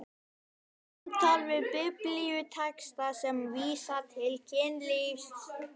SAMTAL VIÐ BIBLÍUTEXTA SEM VÍSA TIL KYNLÍFS